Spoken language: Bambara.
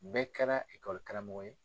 Bɛɛ kɛra ye.